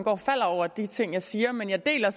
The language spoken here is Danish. og falder over de ting jeg siger men jeg deler